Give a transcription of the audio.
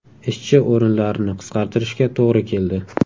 Ishchi o‘rinlarini qisqartirishga to‘g‘ri keldi.